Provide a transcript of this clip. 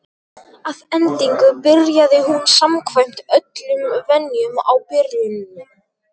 Að endingu byrjaði hún samkvæmt öllum venjum á byrjuninni.